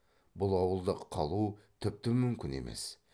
бұл ауылда қалу тіпті мүмкін емес